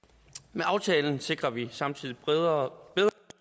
med aftalen sikrer vi samtidig bedre